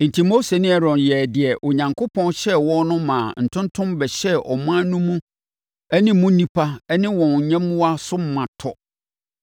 Enti, Mose ne Aaron yɛɛ deɛ Onyankopɔn hyɛɛ wɔn no maa ntontom bɛhyɛɛ ɔman mu no ne mu nnipa ne wɔn nyɛmmoa so ma tɔ.